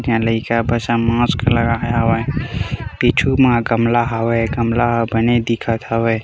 एक झन लइका बसं मास्क लगाए हवय पीछू म गमला हवय गमला ह बने दिखत हवय।